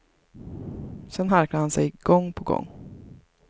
Sedan harklade han sig gång på gång.